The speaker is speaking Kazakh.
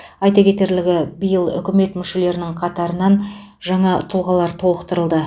айта кетерлігі биыл үкімет мүшелерінің қатарын жаңа тұлғалар толықтырды